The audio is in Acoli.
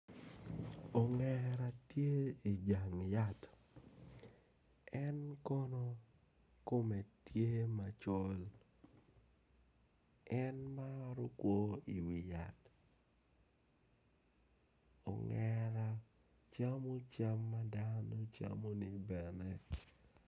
Ongera tye ijang yat en kono kome tye macol en maro kwo iwi yat ongera camo cam mada ne camone bene